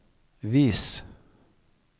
vis